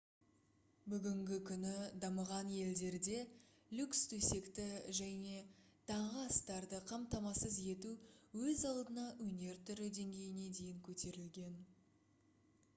бүгінгі күні дамыған елдерде люкс төсекті және таңғы астарды қамтамасыз ету өз алдына өнер түрі деңгейіне дейін көтерілген